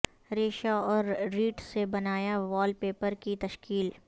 ریشہ اور ریڈ سے بنایا وال پیپر کی تشکیل